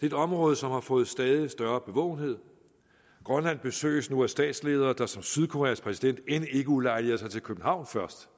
et område som har fået stadig større bevågenhed grønland besøges nu af statsledere der som sydkoreas præsident end ikke ulejliger sig til københavn først